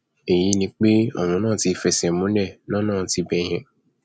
èyí ni pé ọrọ náà ti fẹsẹ múlẹ lọnà tibẹ yẹn